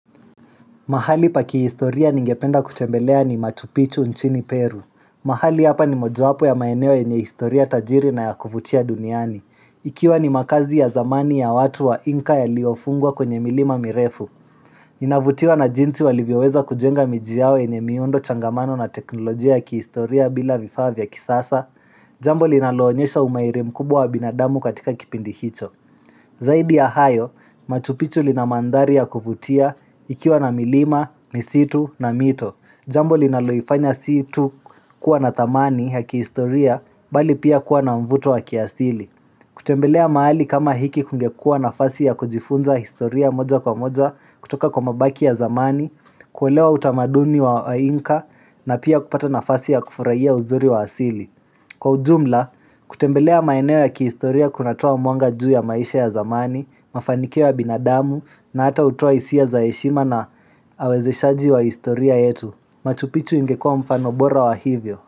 Mahali pa kihistoria ningependa kutembelea ni matupichu nchini Peru. Mahali hapa ni mojawapo ya maeneo yenye historia tajiri na ya kuvutia duniani. Ikiwa ni makazi ya zamani ya watu wa inka yaliyofungwa kwenye milima mirefu. Inavutiwa na jinsi walivyoweza kujenga miji yao yenye miundo changamano na teknolojia ya kihistoria bila vifaa vya kisasa, jambo linaloonyesha umairi mkubwa wa binadamu katika kipindi hicho. Zaidi ya hayo, machupichu lina manthari ya kuvutia ikiwa na milima, misitu na mito Jambo linaloifanya si tu kuwa na thamani ya kihistoria bali pia kuwa na mvuto wa kiasili kutembelea maali kama hiki kungekuwa nafasi ya kujifunza historia moja kwa moja kutoka kwa mabaki ya zamani kuelewa utamaduni wa inka na pia kupata nafasi ya kufurahia uzuri wa asili Kwa ujumla, kutembelea maeneo ya kihistoria kunatoa mwanga juu ya maisha ya zamani, mafanikio ya binadamu na hata hutoa isia za heshima na awezeshaji wa historia yetu. Matupitu ingekua mfano bora wa hivyo.